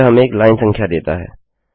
यह हमें एक लाइन संख्या देता है